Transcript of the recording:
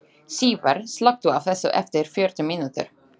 Sívar, slökktu á þessu eftir fjörutíu mínútur.